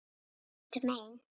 Ég sá ekkert mein.